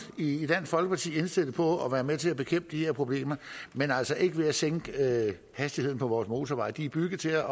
indstillet på at være med til at bekæmpe de her problemer men altså ikke ved at sænke hastigheden på vores motorveje de er bygget til